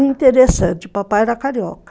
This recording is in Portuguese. Interessante, o papai era carioca.